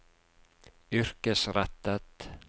yrkesrettet